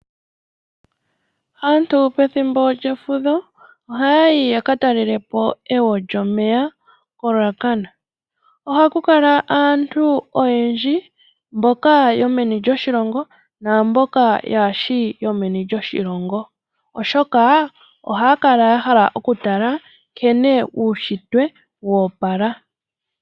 Aantu pethimbo lyefudho ohaya yi ya ka telelepo egwo lyomeya koRuacana, ohaku kala aantu oyendji mboka yomeni lyoshilongo naamboka yaashi yomeni lyoshilongo. Oshoka ohaya kala ya hala okutala nkene uushitwe wa opala.